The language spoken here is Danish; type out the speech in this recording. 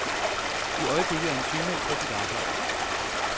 I øjeblikket er han sygemeldt fra sit arbejde.